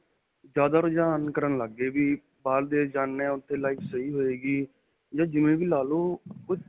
ਜਿਆਦਾ ਰੁਝਾਨ ਕਰਨ ਲਗ ਗਏ ਵੀ, ਬਾਹਰ ਦੇਸ਼ ਜਾਨੇ ਹਾਂ ਤਾਂ ਉੱਥੇ life ਸਹੀ ਹੋਵੇਗੀ ਜਾਂ ਜਿਵੇਂ ਵੀ ਲਾਲੋ ਓਹ.